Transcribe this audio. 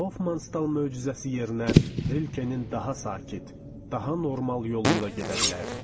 Hofman Stal möcüzəsi yerinə Rilkenin daha sakit, daha normal yoluyla gedə bilərdik.